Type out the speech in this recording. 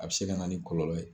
A bɛ se ka na ni kɔlɔlɔ ye.